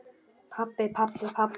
Pabbi, pabbi, pabbi.